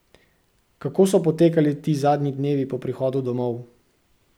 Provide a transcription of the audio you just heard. Kako so potekali ti zadnji dnevi po prihodu domov?